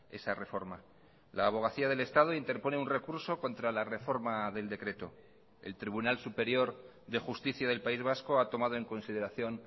esa reforma la abogacía del estado interpone un recurso contra la reforma del decreto el tribunal superior de justicia del país vasco ha tomado en consideración